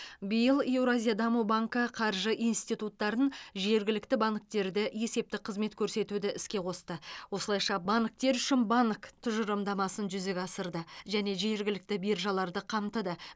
биыл еуразия даму банкі қаржы институттарын жергілікті банктерді есептік қызмет көрсетуді іске қосты осылайша банктер үшін банк тұжырымдамасын жүзеге асырды және жергілікті биржаларды қамтыды